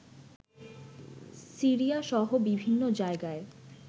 সিরিয়াসহ বিভিন্ন জায়গায়